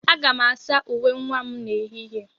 Aga m asa uwe nwa m n'ehihie.